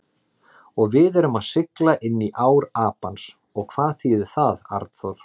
Og við erum að sigla inní ár Apans og hvað þýðir það, Arnþór?